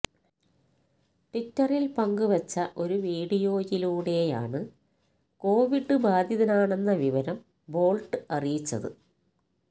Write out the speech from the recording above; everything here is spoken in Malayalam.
ട്വിറ്ററിൽ പങ്കുവെച്ച ഒരു വീഡിയോയിലൂടെയാണ് കോവിഡ് ബാധിതനാണെന്ന വിവരം ബോൾട്ട് അറിയിച്ചത്